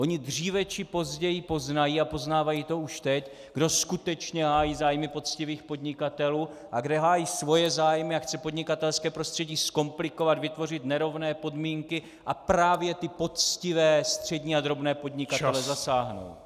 Oni dříve či později poznají, a poznávají to už teď, kdo skutečně hájí zájmy poctivých podnikatelů a kdo hájí svoje zájmy a chce podnikatelské prostředí zkomplikovat, vytvořit nerovné podmínky a právě ty poctivé střední a drobné podnikatele zasáhnout.